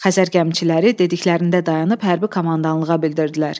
Xəzər gəmiçiləri dediklərində dayanıb hərbi komandanlığa bildirdilər: